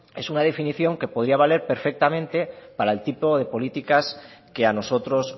es un definición que podría valer perfectamente para el tipo de políticas que a nosotros